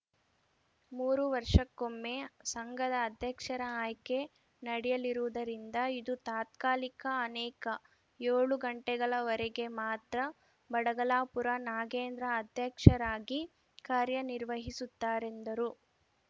ಮೂರು ವರ್ಷಕ್ಕೊಮ್ಮೆ ಸಂಘದ ಅಧ್ಯಕ್ಷರ ಆಯ್ಕೆ ನಡೆಯಲಿರುವುದರಿಂದ ಇದು ತಾತ್ಕಾಲಿಕ ನೇಕ ಏಳು ತಿಂಗಳವರೆಗೆ ಮಾತ್ರ ಬಡಗಲಾಪುರ ನಾಗೇಂದ್ರ ಅಧ್ಯಕ್ಷರಾಗಿ ಕಾರ್ಯನಿರ್ವಹಿಸುತ್ತಾರೆಂದರು